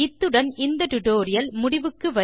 இத்துடன் இந்த டுடோரியல் முடிகிறது